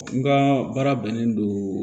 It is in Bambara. N ka baara bɛnnen don